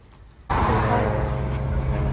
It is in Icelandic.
Þú þagðir.